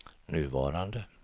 nuvarande